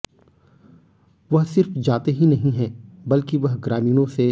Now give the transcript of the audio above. वह सिर्फ जाते ही नहीं हैं बल्कि वह ग्रामीणों से